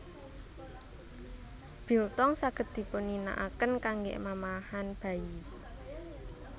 Biltong saged dipunginakaken kanggé mamahan bayi